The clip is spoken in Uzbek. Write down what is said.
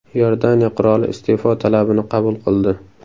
Iordaniya qiroli iste’fo talabini qabul qildi.